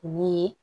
Ni